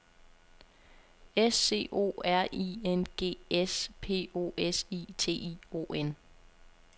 S C O R I N G S P O S I T I O N